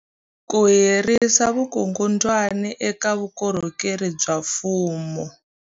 Ku herisa vukungundwani eka vukorhokeri bya mfumo.